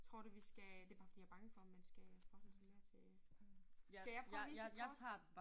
Tror du vi skal det bare fordi jeg bange for om man skal forholde sig mere til øh. Skal jeg prøve at vise et kort?